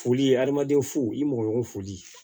Foli hadamaden fo i mɔgɔ foli